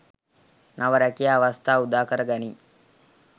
නව රැකියා අවස්‌ථා උදාකර ගනී.